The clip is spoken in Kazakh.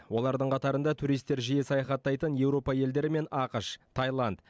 олардың қатарында туристер жиі саяхаттайтын еуропа елдері мен ақш тайланд